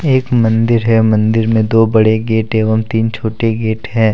एक मन्दिर है मन्दिर में दो बड़े गेट एवं तीन छोटे गेट हैं।